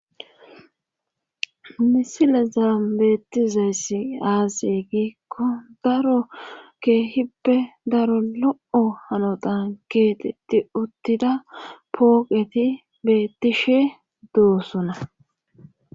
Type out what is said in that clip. Misile zaambettizayss aasi giikko daro keehippe daro lo7o hanotan geexetti uttida pooqeti bettishe doosona